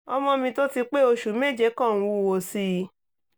ọmọ mi tó ti pé oṣù méje kò ń wúwo sí i i